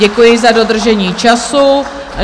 Děkuji za dodržení času.